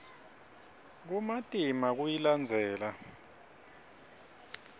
kumatima kuyilandzela